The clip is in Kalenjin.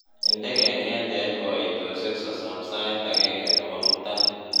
inde keng'eet en koitosiek sosom sait agenge nebo mutai